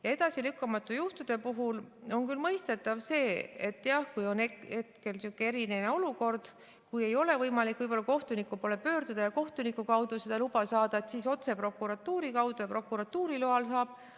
Ja edasilükkamatute juhtude puhul on küll mõistetav see, et jah, kui on hetkel sihuke eriline olukord, et ei ole võimalik kohtuniku poole pöörduda ja kohtuniku kaudu seda luba saada, siis otse prokuratuuri kaudu ja prokuratuuri loal saab.